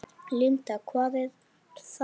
Linda: Hvað er það?